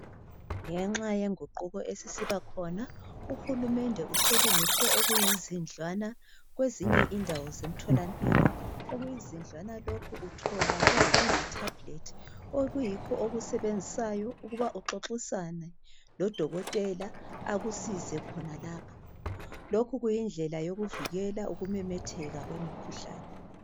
Ngenxa yenguquko esisiba khona uhulumende uselungise okuyizindlwana kwezinye indawo zemtholampilo okuyizindlwana lokhu uthola kulo kuyi tablet okuyikho okusebenzisayo ukuba uxoxisane lodokotela akusize khona lapho. Lokhu kuyindlela yokuvikela ukumemetheka kwemikhuhlane.